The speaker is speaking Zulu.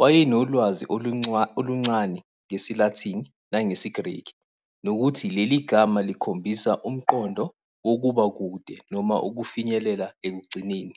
wayenolwazi oluncane ngesiLatin nangesiGreki, nokuthi leli gama likhombisa umqondo wokuba kude noma ukufinyelela ekugcineni.